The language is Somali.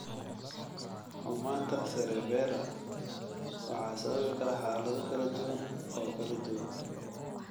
Xumanaanta Cerebellar waxaa sababi kara xaalado kala duwan oo kala duwan.